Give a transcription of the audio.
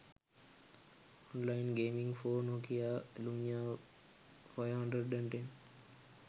online gaming for nokia lumia 510